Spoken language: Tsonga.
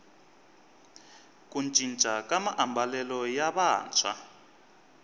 ku cinca ka maambalelo ya vantshwa